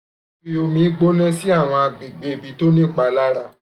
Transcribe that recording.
fi omi gbona si awọn agbegbe ti o ni ipalara